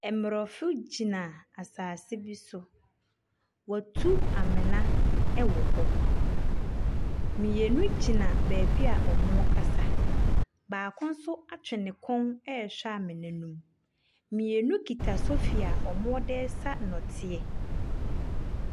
Mmorɔfo gyina asase bi so. Wɔatu amena wɔ hɔ. Mmienu gyina baabi a wɔrekasa. Baako nso atwe ne kɔn rehwɛ amena no mu. Mmienu kita sofi a wɔde resa nnɔteɛ.